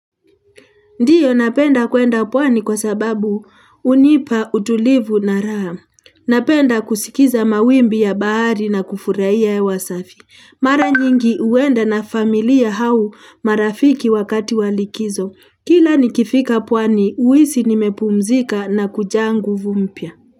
Ndiyo napenda kuenda pwani kwa sababu hunipa utulivu na raha. Napenda kusikiza mawimbi ya bahari na kufurahia hewa safi. Mara nyingi huenda na familia au marafiki wakati wa likizo. Kila nikifika pwani, huisi nimepumzika na kujaa nguvu mpya.